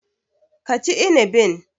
Ka ci inibin.